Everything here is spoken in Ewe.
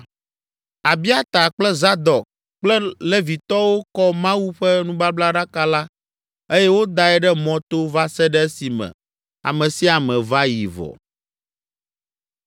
Abiata kple Zadok kple Levitɔwo kɔ Mawu ƒe nubablaɖaka la eye wodae ɖe mɔto va se ɖe esime ame sia ame va yi vɔ.